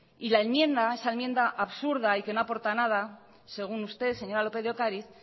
y la enmienda esa enmienda absurda que no aporta nada según usted señora lópez de ocariz